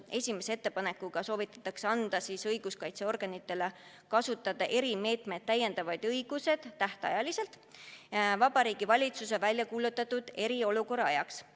Esimese ettepanekuga soovitatakse anda õiguskaitseorganitele õigus kasutada erimeetmeid tähtajaliselt, Vabariigi Valitsuse väljakuulutatud eriolukorra ajaks.